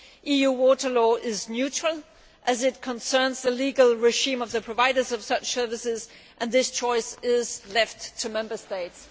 EU water law is neutral, as it concerns the legal regime of the providers of such services, and this choice is left to Member States.